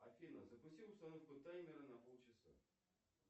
афина запусти установку таймера на полчаса